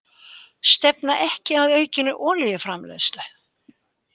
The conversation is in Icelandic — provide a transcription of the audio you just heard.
Stefna ekki að aukinni olíuframleiðslu